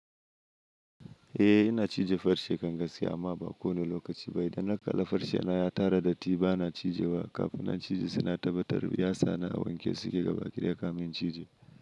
Eh ina cije farce kan gaskiya amma ba kowane lokaci ba. Idan na kala farce na ya tara datti bana cije wa. Kafin na cije saina tabbatar yasana a wankesu ke gabakidaya ka min cije.